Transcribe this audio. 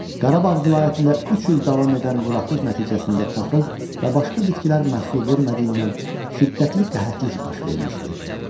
Qarabağ vilayətində üç il davam edən quraqlıq nəticəsində taxıl və başqa bitkilər məhsul vermədiyindən şiddətli qəhətlik baş vermişdi.